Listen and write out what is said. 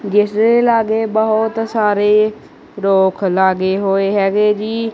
ਜਿੱਸ ਦੇ ਲਾਗੇ ਬੋਹੁਤ ਸਾਰੇ ਰੁੱਖ ਲਗੇ ਹੋਏ ਹੈਗੇ ਜੀ।